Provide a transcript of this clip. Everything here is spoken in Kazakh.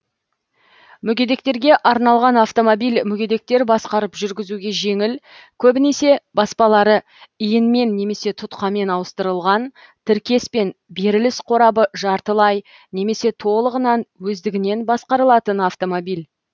мүгедектерге арналған автомобиль мүгедектер басқарып жүргізуге жеңіл көбінесе баспалары иінмен немесе тұтқамен ауыстырылған тіркес пен беріліс қорабы жартылай немесе толығынан өздігінен басқарылатын автомобиль